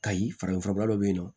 Kayi farafin furabɔla dɔ bɛ yen nɔ